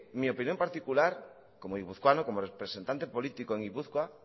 mi opinión particular como guipuzcoano como representante político de gipuzkoa